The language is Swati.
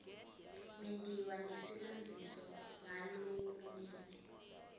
mentiwa nesilandziso ngalokulungile